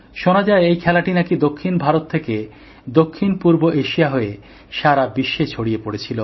শোনা যায়এই খেলাটি নাকি দক্ষিণ ভারত থেকে দক্ষিণপূর্ব এশিয়া হয়ে সারা বিশ্বে ছড়িয়ে পড়েছিল